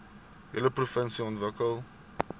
hele provinsie ontwikkel